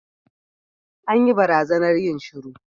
An yi barazanar yin shiru.